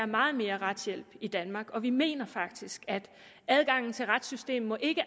meget mere retshjælp i danmark og vi mener faktisk at adgangen til retssystemet ikke